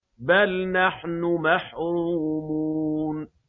بَلْ نَحْنُ مَحْرُومُونَ